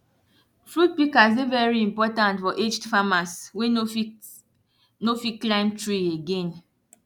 fruit pikas dey very important for aged farmers wey no fit no fit climb tree again